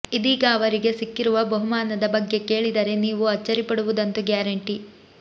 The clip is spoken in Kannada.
ಇದೀಗ ಅವರಿಗೆ ಸಿಕ್ಕಿರುವ ಬಹುಮಾನದ ಬಗ್ಗೆ ಕೇಳಿದರೆ ನೀವು ಅಚ್ಚರಿಪಡುವುದಂತೂ ಗ್ಯಾರಂಟಿ